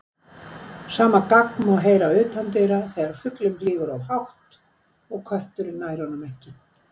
Sama gagg má heyra utandyra þegar fuglinn flýgur of hátt og kötturinn nær honum ekki.